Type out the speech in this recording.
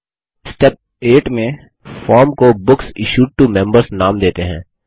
step 8 में form को books issued to members नाम देते हैं